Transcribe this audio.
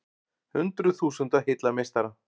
Hundruð þúsunda hylla meistara